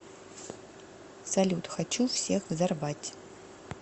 салют хочу всех взорвать